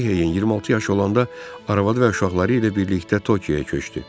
Röhiyeyin 26 yaşı olanda arvadı və uşaqları ilə birlikdə Tokiyaya köçdü.